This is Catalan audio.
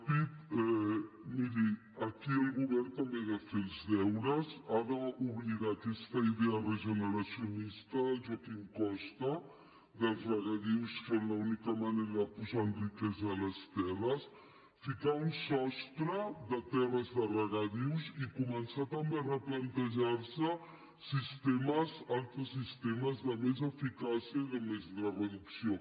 miri aquí el govern també ha de fer els deures ha d’oblidar aquesta idea regeneracionista del joaquim costa dels regadius com l’única manera de posar en riquesa les terres ficar un sostre de terres de regadius i començar també a replantejar se altres sistemes de més eficàcia i de més reducció